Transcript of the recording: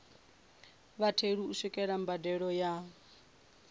vhatheli u swikelela mbadelo ya